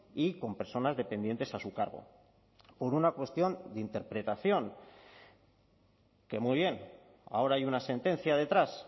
y con personas dependientes a su cargo por una cuestión de interpretación que muy bien ahora hay una sentencia detrás